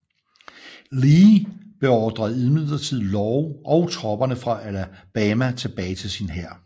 Lee beordrede imidlertid Law og tropperne fra Alabama tilbage til sin hær